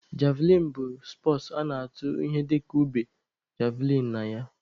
Javlịn bụ spọtsụ a na-atụ ihe dịka ube (javlịn) na ya.